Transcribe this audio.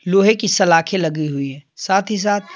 लोहे की सलाखें लगी हुई है साथ ही साथ--